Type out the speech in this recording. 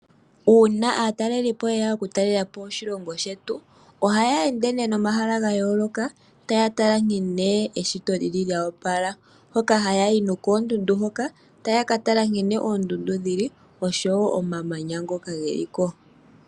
Uuna aatalelipo yeya okutalelapo moshilongo shetu, ohaya ende nee nomahala gayooloka taya tala nkene eshito, lili lyo opala. Oha yayi nee koondundu hoka taya ka tala, nkene oondundu dhili, oshowo omamanya ngoka geli ko.